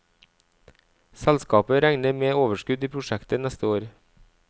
Selskapet regner med overskudd i prosjektet neste år.